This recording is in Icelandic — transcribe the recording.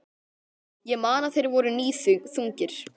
Ég man að þeir voru níðþungir.